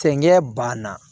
Fɛnkɛ banna